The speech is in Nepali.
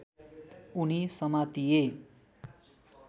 उनी समातिए